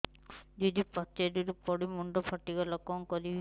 ଦିଦି ପାଚେରୀରୁ ପଡି ମୁଣ୍ଡ ଫାଟିଗଲା କଣ କରିବି